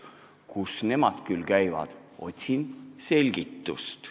Kus nemad küll käivad, otsin selgitust.